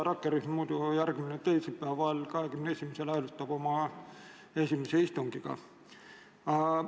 Rakkerühm järgmisel teisipäeval, 21. jaanuaril, hääletab oma esimesel istungil.